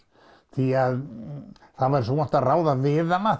því það væri svo vont að ráða við hana